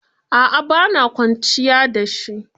A'a ba na kwanciya da shi.